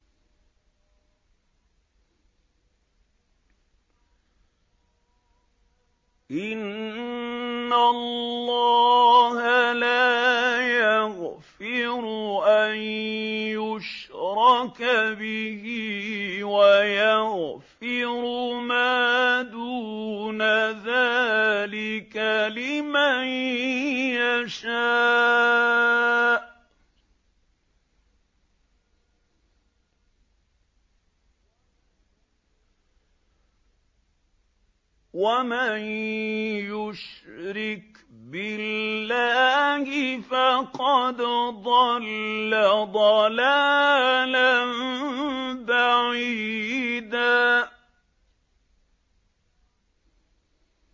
إِنَّ اللَّهَ لَا يَغْفِرُ أَن يُشْرَكَ بِهِ وَيَغْفِرُ مَا دُونَ ذَٰلِكَ لِمَن يَشَاءُ ۚ وَمَن يُشْرِكْ بِاللَّهِ فَقَدْ ضَلَّ ضَلَالًا بَعِيدًا